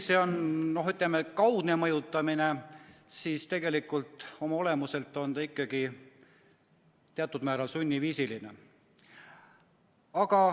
See on küll kaudne mõjutamine, aga oma olemuselt on see ikkagi teatud määral sund.